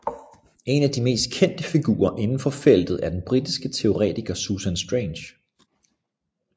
En af de mest kendte figurer indenfor feltet er den britiske teoretiker Susan Strange